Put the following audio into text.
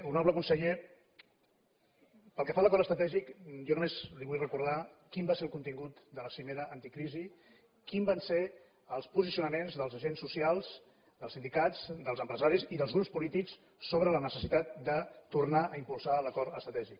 honorable conseller pel que fa a l’acord estratègic jo només li vull recordar quin va ser el contingut de la cimera anticrisi quins van ser els posicionaments dels agents socials dels sindicats dels empresaris i dels grups polítics sobre la necessitat de tornar a impulsar l’acord estratègic